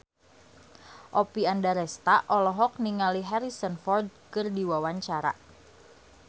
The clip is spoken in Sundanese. Oppie Andaresta olohok ningali Harrison Ford keur diwawancara